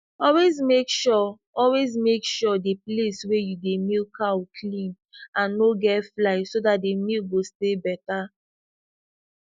always make sure always make sure the place wey you dey milk cow clean and no get fly so the milk go stay better